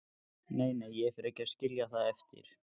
Nei, nei, ég fer ekki að skilja það eftir.